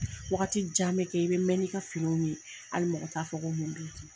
Wagati jan bɛ kɛ i bɛ mɛɛnn'i ka finiw ye, hali mɔgɔ t'a fɔ ko mun b'i kun.